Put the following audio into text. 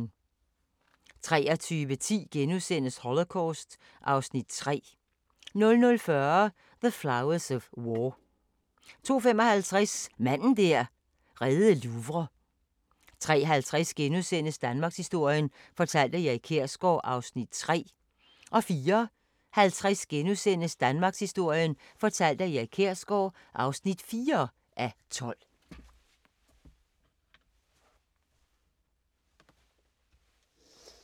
23:10: Holocaust (Afs. 3)* 00:40: The Flowers of War 02:55: Manden der reddede Louvre 03:50: Danmarkshistorien fortalt af Erik Kjersgaard (3:12)* 04:50: Danmarkshistorien fortalt af Erik Kjersgaard (4:12)*